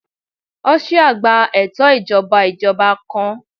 Austria gba eto ijọba ijọba ijọba kan